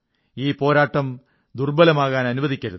ഈ പോരാട്ടം ദുർബ്ബലമാകാൻ അനുവദിക്കരുത്